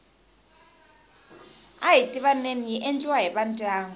ahi tivaneni yi endliwa hi vandyangu